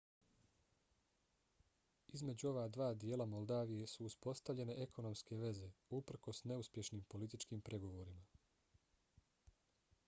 između ova dva dijela moldavije su uspostavljene ekonomske veze uprkos neuspješnim političkim pregovorima